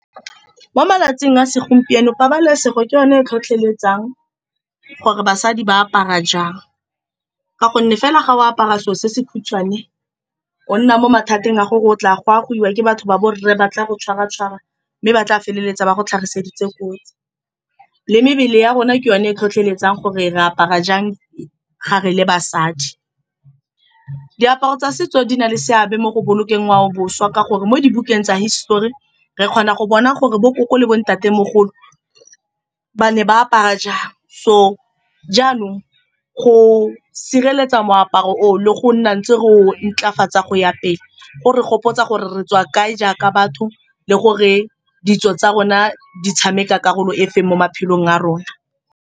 Mo malatsing a segompieno, pabalesego ke yone e tlhotlheletsang gore basadi ba apara jang. Ka gonne fela fa o apara selo se se khutshwane, o nna mo mathateng a gore o tla goa goiwa ke batho ba borre, ba tla go tshwara-tshwara, mme ba tla feleletsa ba go tlhagiseditse kotsi, mebele ya rona ke yone e tlhotlheletsang gore re apara jang ga re le basadi. Diaparo tsa setso di na le seabe mo go bolokeng ngwao le boswa, ka gore mo dibukeng tsa hisitori re kgona go bona gore bo koko le bo ntatemogolo ba ne ba apara jang. So, jaanong go sireletsa moaparo o le go nna ntse re o o ntlafatsa go ya pele, go re gopotsa gore re tswa kae jaaka batho, le gore ditso tsa rona di tshameka karolo efe mo maphelong a rona.